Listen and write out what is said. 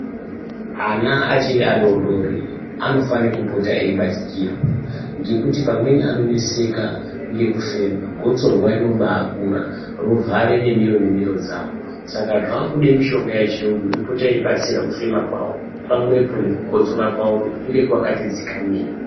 Ana achiri adodori anofane kupota eibatikirwa ngekuti pamweni anonetseka ngekufema gotsorwa rinobakura rovhare nemiro nemiro dzawo Saka zvakude mitombo yechiyungu inopota yeibatsira kuuema kwawo pamwepo nekukotsora kwavo kuti kunge kwakati dzikamei.